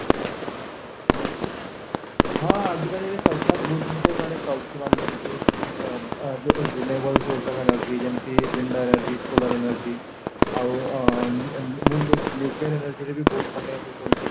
ହଁ ଆଜି କଲି ସରକାର ବହୁତ ଜିନିଷ ମାନେ କରୁଛି ମାନେ ଯେମିତି ଆଁ ଆଁ never source of energy ଯେମିତି Vendor energy ,solar energy ଆଉ ଆଁ nucleon energy ରେ ବହୁତ ମାନେ ମୁଁ ଶୁଣିଚି